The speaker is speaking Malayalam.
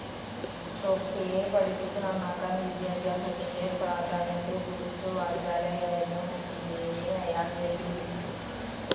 ടോപ്സിയെ പഠിപ്പിച്ചു നാന്നാക്കാൻ, വിദ്യാഭ്യാസത്തിന്റെ പ്രാധാന്യത്തെക്കുറിച്ചു വാചാലയായിരുന്ന ഒഫീലിയയെ അയാൾ വെല്ലുവിളിച്ചു.